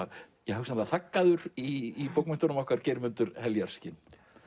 hugsanlega í bókmenntunum okkar Geirmundur heljarskinn